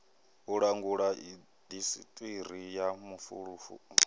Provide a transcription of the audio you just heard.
u langula indasiṱiri ya mafulufulu